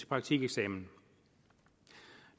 praktikeksamen